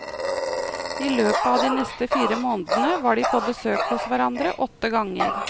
I løpet av de neste fire månedene var de på besøk hos hverandre åtte ganger.